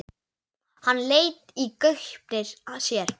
Hann leit í gaupnir sér.